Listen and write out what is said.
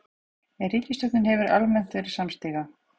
En ríkisstjórnin hefur almennt verið samstiga